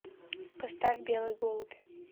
поставь белый голубь